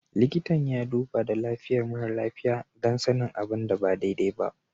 Likitan ya duba da lafiyar mara lafiya don sanin abin da ba daidai ba.